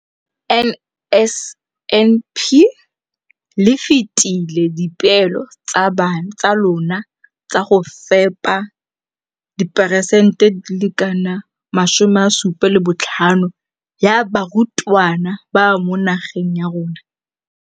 Ka NSNP le fetile dipeelo tsa lona tsa go fepa masome a supa le botlhano a diperesente ya barutwana ba mo nageng.